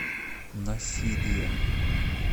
насирия